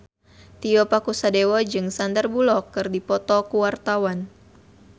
Tio Pakusadewo jeung Sandar Bullock keur dipoto ku wartawan